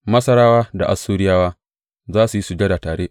Masarawa da Assuriyawa za su yi sujada tare.